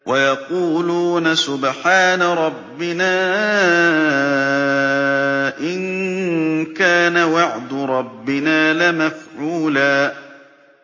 وَيَقُولُونَ سُبْحَانَ رَبِّنَا إِن كَانَ وَعْدُ رَبِّنَا لَمَفْعُولًا